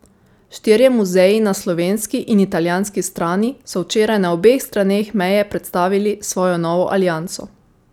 Štirje muzeji na slovenski in italijanski strani so včeraj na obeh straneh meje predstavili svojo novo alianso.